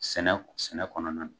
Sɛnɛ sɛnɛ kɔnɔna na.